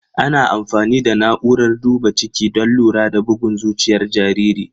Ana amfani da na'urar duba ciki don lura da bugun zuciyar jariri.